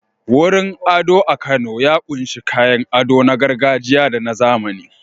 Wurin ado a Kano ya ƙunshi kayan ado na gargajiya da na zamani.